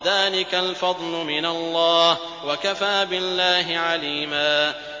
ذَٰلِكَ الْفَضْلُ مِنَ اللَّهِ ۚ وَكَفَىٰ بِاللَّهِ عَلِيمًا